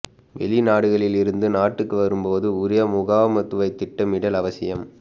வெளிநாடுகளில் இருந்து நாட்டுக்கு வரும் போது உரிய முகாமைத்துவ திட்டமிடல் அவசியம்